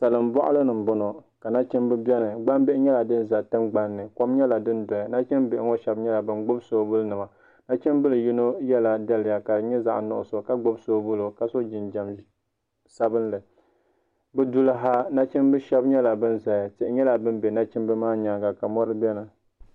Salin boɣali ni n boŋo ka nachimbi biɛni kom nyɛla din do tingbabnni nachimbihi ŋo shab nyɛla bin gbubi soobuli nima nachimbili yino yɛla daliya ka di nyɛ zaɣ nuɣso ka gbubi soobuli ka so jinjɛm sabinli bi duli ha nachimbi shab nyɛla bin ʒɛya tihi nyɛla din bɛ nachimbi maa nyaanga ka mori biɛni